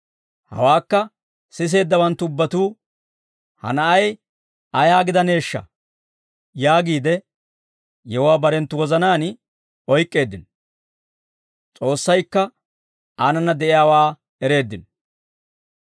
Hawaakka siseeddawanttu ubbatuu, «Ha na'ay ayaa gidaneeshsha?» yaagiide yewuwaa barenttu wozanaan oyk'k'eeddino; S'oossaykka aanana de'iyaawaa ereeddino.